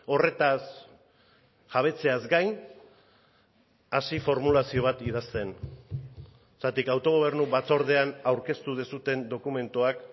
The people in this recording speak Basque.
horretaz jabetzeaz gain hasi formulazio bat idazten zergatik autogobernu batzordean aurkeztu duzuen dokumentuak